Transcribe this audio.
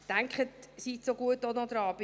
Denken Sie bitte auch noch daran: